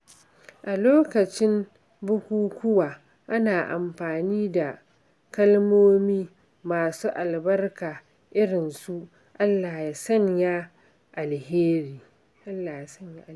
A lokacin bukukuwa, ana amfani da kalmomi masu albarka irin su "Allah ya sanya alkairi."